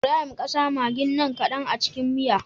Ibrahim ƙasa maggin nan kadan a cikin miyar